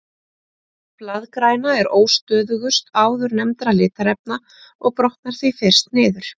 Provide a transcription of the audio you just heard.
Blaðgræna er óstöðugust áðurnefndra litarefna og brotnar því fyrst niður.